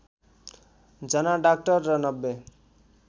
जना डाक्टर र ९०